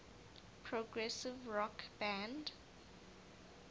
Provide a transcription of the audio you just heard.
progressive rock band